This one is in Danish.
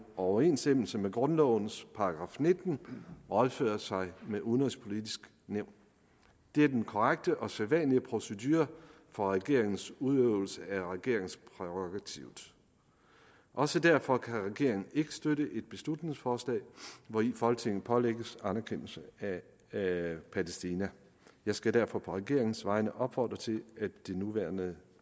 overensstemmelse med grundlovens § nitten rådføre sig med det udenrigspolitiske nævn det er den korrekte og sædvanlige procedure for regeringens udøvelsen af regeringsprærogativet også derfor kan regeringen ikke støtte et beslutningsforslag hvori folketinget pålægges anerkendelse af palæstina jeg skal derfor på regeringens vegne opfordre til at det nærværende